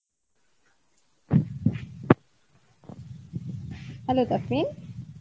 hello Tafrin